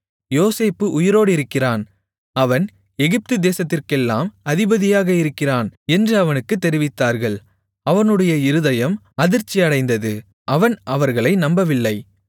யோசேப்பு உயிரோடிருக்கிறான் அவன் எகிப்துதேசத்திற்கெல்லாம் அதிபதியாக இருக்கிறான் என்று அவனுக்குத் தெரிவித்தார்கள் அவனுடைய இருதயம் அதிர்ச்சி அடைந்தது அவன் அவர்களை நம்பவில்லை